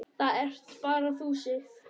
Það ert bara þú, Sif.